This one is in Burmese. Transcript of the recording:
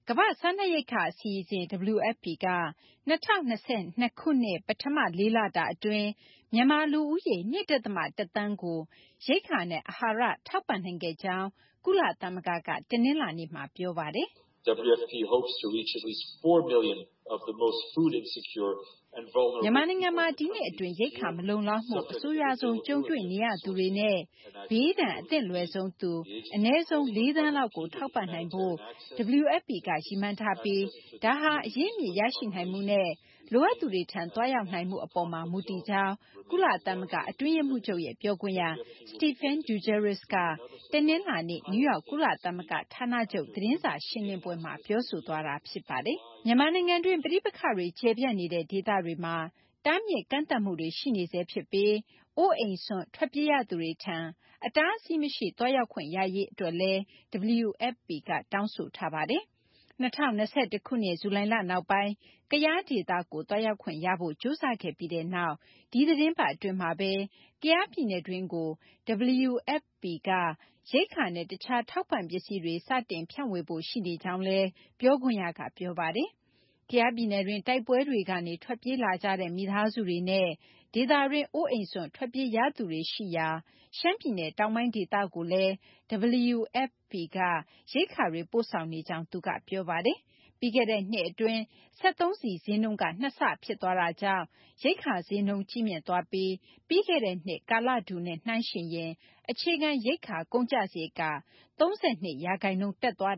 ကမ ္ဘာ့စားနပ်ရိက္ခာ အစီအစဉ် WFP က ၂၀၂၂ ခုနှစ် ပထမ ၄ လတာ အတွင်း မြန်မာ လူဦးရေ ၂ ဒသမ ၁ သန်းကို ရိက္ခာနဲ့ အဟာရ ထောက်ပန့်နိုင်ခဲ့ကြောင်း ကုလသမဂ္ဂက တနလာၤနေ့မှာ ပြောပါတယ်။ မြန်မာနိုင်ငံမှာ ဒီနှစ်အတွင်း ရိက္ခာ မလုံလောက်မှု အဆိုးရွားဆုံး ကြုံတွေ့နေရသူတွေနဲ့ ဘေးဒဏ် အသင့်လွယ်ဆုံးသူ အနည်းဆုံး ၄ သန်းလောက်ကို ထောက်ပံ့နိုင်ဖို့ WFP က ရည်မှန်းထားပြီး ဒါဟာ အရင်းအမြစ် ရရှိနိုင်မှုနဲ့ လိုအပ်သူတွေထံ သွားရောက်နိုင်မှု အပေါ်မှာ မူတည်ကြောင်း ကုလသမဂ္ဂ အတွင်းရေးမှူးချုပ်ရဲ့ ပြောခွင့်ရ Stephane Dujarric က တနလာၤနေ့ နယူးယောက် ကုလသမဂ္ဂ ဌာနချုပ် သတင်းစာ ရှင်းလင်းပွဲမှာ ပြောဆိုခဲ့တာပါ။ မြန်မာနိုင်ငံတွင်း ပဋိပက္ခတွေ ကျယ်ပြန့်နေတဲ့ ဒေသတွေမှာ တားမြစ်ကန့်သတ်မှုတွေ ရှိနေဆဲ ဖြစ်ပြီး အိုးအိမ်စွန့် ထွက်ပြေးရသူတွေထံ အတားအဆီးမရှိ သွားရောက်ခွင့်ရရေး အတွက်လည်း WFP က တောင်းဆိုထားပါတယ်။ ၂၀၂၁ ခုနှစ် ဇူလိုင်လ နောက်ပိုင်း ကယား ဒေသကို သွားရောက်ခွင့်ရဖို့ ကြိုးစားခဲ့ပြီးနောက် ဒီသီတင်းပတ် အတွင်းမှာဘဲ ကယားပြည်နယ်တွင်းကို WFP က ရိက္ခာနဲ့ တခြား ထောက်ပန့်ပစ္စည်းတွေ စတင် ဖြန့်ဝေဖို့ ရှိနေကြောင်းလည်း ပြောခွင့်ရက ပြောပါတယ်။ ကယားပြည်နယ်တွင်း တိုက်ပွဲတွေကနေ ထွက်ပြေးလာကြတဲ့ မိသားစုတွေနဲ့ ဒေသတွင်း အိုးအိမ်စွန့် ထွက်ပြေးရသူတွေရှိရာ ရှမ်းပြည်နယ် တောင်ပိုင်း ဒေသကိုလည်း WFP က ရိက္ခာတွေ ပို့ဆောင်နေကြောင်းလည်း သူက ပြောပါတယ်။ ပြီးခဲ့တဲ့နှစ်အတွင်း စက်သုံးဆီ ဈေးနှုန်းက ၂ ဆဖြစ်သွားတာကြောင့် ရိက္ခာဈေးနှုန်းတွေ ကြီးမြင့်သွားပြီး ပြီးခဲ့တဲ့နှစ် ကာလတူနဲ့ နှိုင်းယှဉ်ရင် အခြေခံ ရိက္ခာ ကုန်ကျစာရိတ်က ၃၂ ရာခိုင်နှုန်း တက်သွား